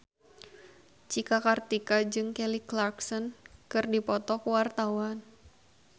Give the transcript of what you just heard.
Cika Kartika jeung Kelly Clarkson keur dipoto ku wartawan